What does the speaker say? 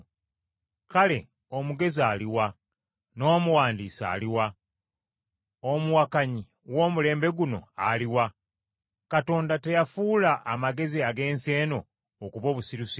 Kale omugezi aluwa? N’omuwandiisi aluwa? Omuwakanyi w’omulembe guno aluwa? Katonda teyafuula amagezi ag’ensi eno okuba obusirusiru?